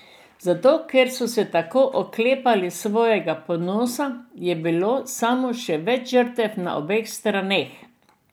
Zato, ker so se tako oklepali svojega ponosa, je bilo samo še več žrtev na obeh straneh.